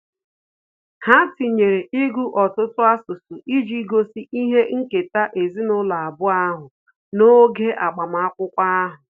Ha tinyere ịgụ ọtụtụ asụsụ iji gosi ihe nketa ezinụlọ abụọ ahụ n'oge agbamakwụkwọ ahu